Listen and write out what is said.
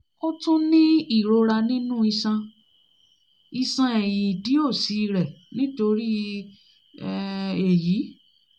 ó tún ń ní ìrora nínú iṣan iṣan ẹ̀yìn ìdí òsì rẹ̀ nítorí um èyí